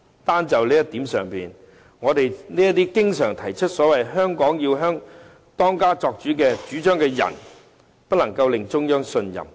單在這一點上，那些經常主張"香港要當家作主"的人便不能令中央信任。